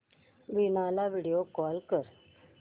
वीणा ला video call कर